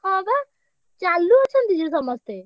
ହଁ ବା, ଚାଲୁ ଅଛନ୍ତି ଯେ ସମସ୍ତେ।